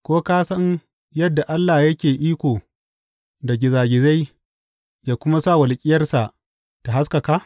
Ko ka san yadda Allah yake iko da gizagizai ya kuma sa walƙiyarsa ta haskaka?